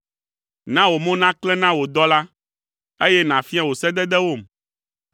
Na wò mo naklẽ na wò dɔla, eye nàfia wò sededewom.